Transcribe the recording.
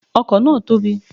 The car is big